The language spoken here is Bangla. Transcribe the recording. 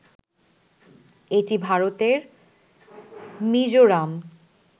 এটি ভারতের মিজোরাম